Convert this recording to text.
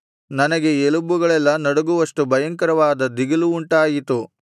ನನಗೆ ಎಲುಬುಗಳೆಲ್ಲಾ ನಡುಗುವಷ್ಟು ಭಯಂಕರವಾದ ದಿಗಿಲು ಉಂಟಾಯಿತು